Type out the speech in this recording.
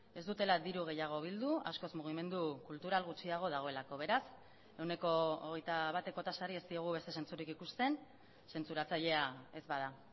ez dutela diru gehiago bildu askoz mugimendu kultural gutxiago dagoelako beraz ehuneko hogeita bateko tasari ez diogu beste zentzurik ikusten zentzuratzailea ez bada